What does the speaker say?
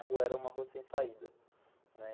A rua era uma rua sem saída, né.